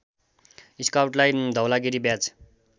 स्काउटलाई धौलागिरी ब्याज